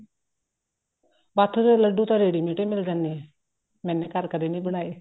ਬਾਥੂ ਦੇ ਲੱਡੂ ਤਾਂ ready mate ਹੀ ਮਿਲ ਜਾਂਦੇ ਨੇ ਮੈਂਨੇ ਘਰ ਕਦੀ ਨੀ ਬਣਾਏ